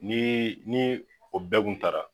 Ni ni o bɛɛ kun tara